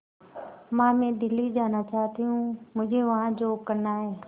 मां मैं दिल्ली जाना चाहते हूँ मुझे वहां जॉब करना है